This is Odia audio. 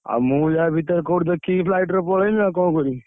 ଆଉ ମୁଁ ୟା ଭିତରେ କୋଉଠି ଦେଖିକି flight ରେ ପଳେଇବି ଆଉ କଣ କରିବି?